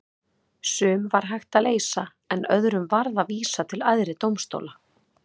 Sum var hægt að leysa en öðrum varð að vísa til æðri dómstóla.